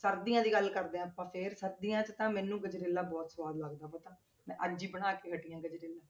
ਸਰਦੀਆਂ ਦੀ ਗੱਲ ਕਰਦੇ ਹਾਂ ਆਪਾਂ ਫਿਰ ਸਰਦੀਆਂ 'ਚ ਤਾਂ ਮੈਨੂੰ ਗਜਰੇਲਾ ਬਹੁਤ ਸਵਾਦ ਲੱਗਦਾ ਪਤਾ, ਮੈਂ ਅੱਜ ਹੀ ਬਣਾ ਕੇ ਹਟੀ ਹਾਂ ਗਜਰੇਲਾ।